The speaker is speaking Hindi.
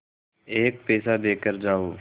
एक पैसा देकर जाओ